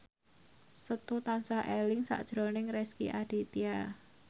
Setu tansah eling sakjroning Rezky Aditya